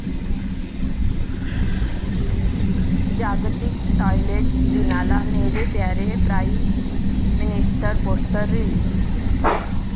जागतिक टॉयलेट दिना'ला 'Mere Pyare Prime Minister' poster release